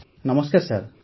ଆଜ୍ଞା ନମସ୍କାର ସାର୍